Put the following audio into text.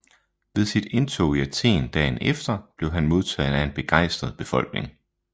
Ved sit indtog i Athen dagen efter blev han modtaget af en begejstret befolkning